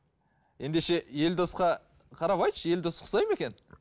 ендеше елдосқа қарап айтшы елдос ұқсайды ма екен